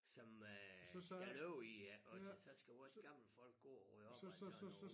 Som øh skal løbe iggås og så skal vores gamle folk gå og rydde op alt sådan noget